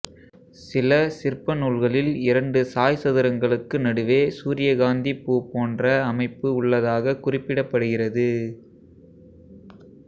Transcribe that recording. சில சிற்ப நூல்களில் இரண்டு சாய் சதுரங்களுக்கு நடுவே சூரியகாந்தி பூ போன்ற அமைப்பு உள்ளதாக குறிப்பிடப்படுகிறது